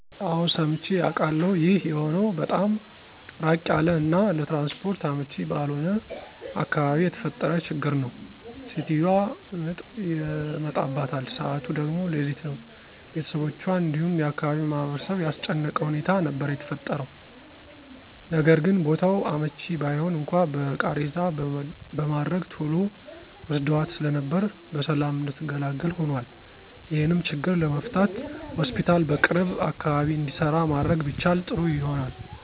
አወ ሰምቼ አቃለሁ። ይህ የሆነው በጣም ራቅ ያለ እና ለትራንስፖርት አመቺ ባልሆነ አካባቢ የተፈጠረ ችግር ነው። ሴትዮዋ ምጥ ይመጣባታል ሰዓቱ ደግሞ ሌሊት ነው፤ ቤተሰቦቹአን እንዲሁም የአካባቢውን ማህበረሰብ ያስጨነቀ ሁኔታ ነበር የተፈጠረው። ነገርግን ቦታው አመቺ ባይሆን እንኳን በቃሬዛ በማድረግ ቶሎ ወስደዋት ስለነበር በሰላም እንድትገላገል ሆኖአል። ይሄንም ችግር ለመፍታት ሆስፒታል በቅርብ አካባቢ እንዲሰራ ማድረግ ቢቻል ጥሩ ይሆናል።